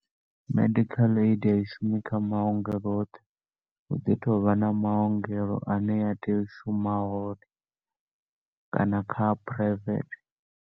Medical aid a i shumi kha maongelo oṱhe, hu ḓi tovha na maongelo ane ya tea u shuma hone, kana kha phuraivethe.